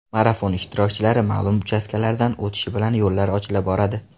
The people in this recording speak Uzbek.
Marafon ishtirokchilari ma’lum uchastkalardan o‘tishi bilan yo‘llar ochila boradi.